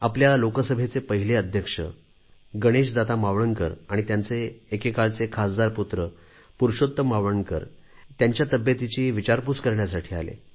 आपल्या लोकसभेचे पहिले अध्यक्ष गणेश दादा मावळणकर आणि त्यांचे एकेकाळचे खासदार पुत्र पुरुषोत्तम मावळणकर त्यांच्या तब्येतीची विचारपूस करण्यासाठी आले